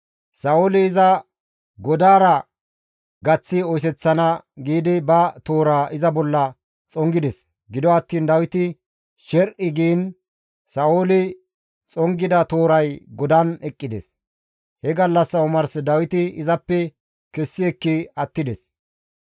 Sa7ooli iza godaara gaththi oyseththana giidi ba toora iza bolla xongides; gido attiin Dawiti sher7i giin Sa7ooli xongida tooray godan eqqides; he gallassa omars Dawiti izappe kessi ekki attides.